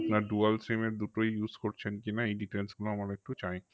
আপনার dual sim এর দুটোই use করছেন কি না এই details গুলো আমার একটু চাই